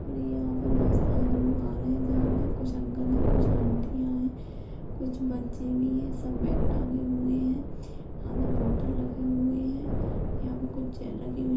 यहाँ पर बहुत सारे लोग आ रहे है जा रहे है कुछ अंकल है कुछ आंटी है कुछ बच्चे भी है सब बैग टाँगे हुए है हाथ में बोटल रखी हुई है यहाँ पे कुछ चेयर रखी हुई है।